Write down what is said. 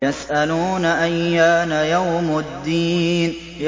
يَسْأَلُونَ أَيَّانَ يَوْمُ الدِّينِ